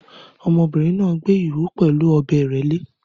Ọmọdébìnrin náà gbẹ́ ihò pẹ̀lú ọ̀bẹ ìrẹ́lẹ́